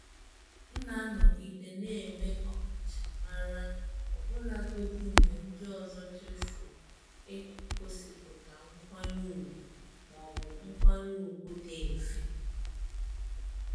M na-anọgide na-enwe ọkachamara ọbụlagodi mgbe ndị ọzọ chefuo igosipụta nkwanye ùgwù ma ọ bụ nkwanye ùgwù dị mfe.